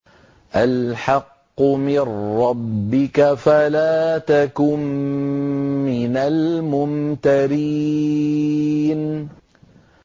الْحَقُّ مِن رَّبِّكَ فَلَا تَكُن مِّنَ الْمُمْتَرِينَ